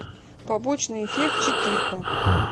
побочный эффект четырка